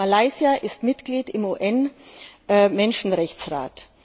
Malaysia ist Mitglied im UN Menschenrechtsrat.